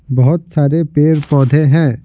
बहुत सारे पेड़-पौधे हैं.